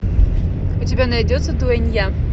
у тебя найдется дуэнья